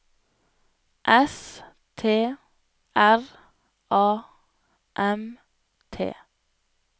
S T R A M T